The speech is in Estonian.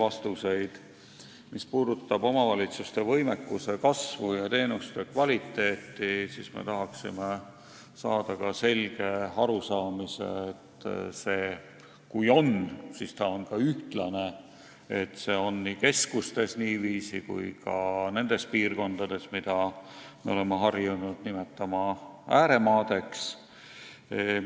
Me tahaksime saada ka selge arusaamise omavalitsuste võimekuse ja teenuste kvaliteedi kasvu kohta – kui seda kasvu on, siis kas see on ka ühtlaselt jaotunud, st kas seda kasvu on nii keskustes kui ka nendes piirkondades, mida me oleme harjunud nimetama ääremaadeks.